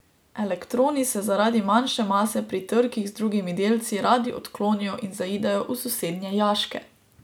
Elektroni se zaradi manjše mase pri trkih z drugimi delci radi odklonijo in zaidejo v sosednje jaške.